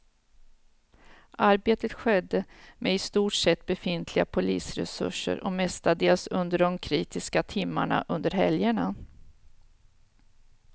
Arbetet skedde med i stort sett befintliga polisresurser och mestadels under de kritiska timmarna under helgerna.